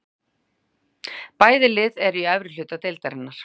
Bæði lið eru í efri hluta deildarinnar.